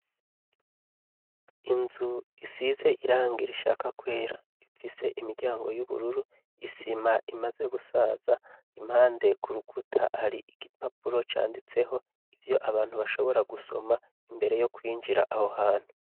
Inzu isize irangira ishaka kwera, ifise imiryango y'ubururu, isima imaze gusaza, impande ku rukuta hari igipapuro canditseho ivyo abantu bashobora gusoma imbere yo kwinjira aho hantu.